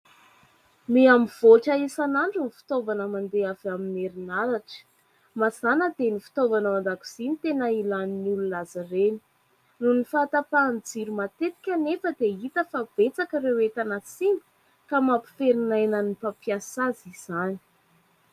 Miha mivoatra isan'andro ny fitaovana mandeha avy amin'ny herinaratra. Mazana dia ny fitaovana ao an-dakozia no tena ilan'ny olona azy ireny. Noho ny fahatapahan'ny jiro matetika anefa dia hita fa betsaka ireo entana simba ka mampiferinaina ny mpampiasa azy izany.